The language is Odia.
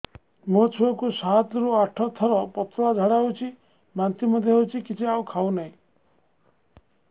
ମୋ ଛୁଆ କୁ ସାତ ରୁ ଆଠ ଥର ପତଳା ଝାଡା ହେଉଛି ବାନ୍ତି ମଧ୍ୟ୍ୟ ହେଉଛି କିଛି ଖାଉ ନାହିଁ